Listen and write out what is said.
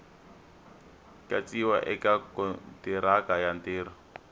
katsiwa eka kontiraka ya ntirho